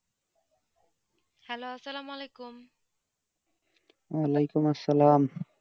hello সালেমলেকুম ওয়ালাইকুম সালাম